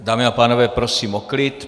Dámy a pánové, prosím o klid.